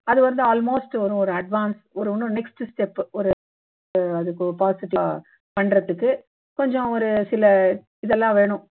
அது வந்து almost வரும் ஒரு advance ஒரு இன்னும் next step ஒரு அது possible ஆ பண்றதுக்கு கொஞ்சம் ஒரு சில இதெல்லாம் வேணும்